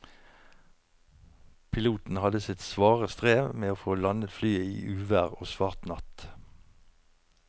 Piloten hadde sitt svare strev med å få landet flyet i uvær og svart natt.